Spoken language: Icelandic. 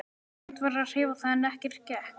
Reynt var að hreyfa það en ekkert gekk.